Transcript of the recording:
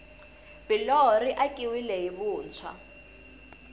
biloho ri akiwile hi vuntshwa